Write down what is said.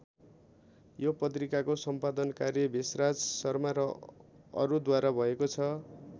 यो पत्रिकाको सम्पादन कार्य भेषराज शर्मा र अरूद्वारा भएको छ।